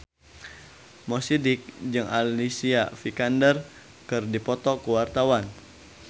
Mo Sidik jeung Alicia Vikander keur dipoto ku wartawan